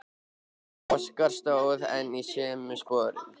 Óskar stóð enn í sömu sporum.